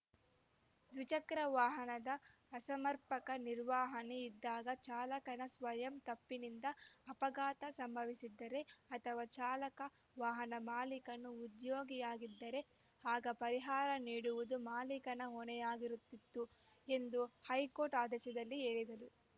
ದ್ವಿಚಕ್ರ ವಾಹನದ ಅಸಮರ್ಪಕ ನಿರ್ವಹಣೆ ಇದ್ದಾಗ ಚಾಲಕನ ಸ್ವಯಂ ತಪ್ಪಿನಿಂದ ಅಪಘಾತ ಸಂಭವಿಸಿದ್ದರೆ ಅಥವಾ ಚಾಲಕ ವಾಹನ ಮಾಲೀಕನ ಉದ್ಯೋಗಿಯಾಗಿದ್ದರೆ ಆಗ ಪರಿಹಾರ ನೀಡುವುದು ಮಾಲಿಕನ ಹೊಣೆಯಾಗಿರುತ್ತಿತ್ತು ಎಂದು ಹೈಕೋರ್ಟ್‌ ಆದೇಶದಲ್ಲಿ ಹೇಳಿದೆ